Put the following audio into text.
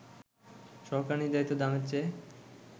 সরকার নির্ধারিত দামের চেয়ে